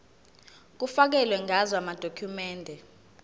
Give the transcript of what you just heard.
kufakelwe ngazo amadokhumende